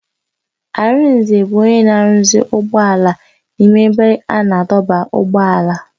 Arinze bụ onye na-arụzi ụgbọala n'ime ebe a na-adọba ụgbọala.